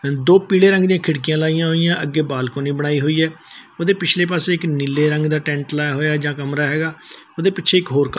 ਦੋ ਪੀਲੇ ਰੰਗ ਦਿਆਂ ਖਿੜਕੀਆਂ ਲਾਈਆਂ ਹੋਈਆਂ ਅੱਗੇ ਬਾਲਕੋਨੀ ਬਣਾਈ ਹੋਈ ਹੈ ਓਹਦੇ ਪਿਛਲੇ ਪਾੱਸੇ ਇੱਕ ਨੀਲੇ ਰੰਗ ਦਾ ਟੈਂਟ ਲਾਇਆ ਹੋਇਆ ਜਾਂ ਕਮਰਾ ਹੈਗਾ ਓਹਦੇ ਪਿੱਛੇ ਇੱਕ ਹੋਰ ਕ--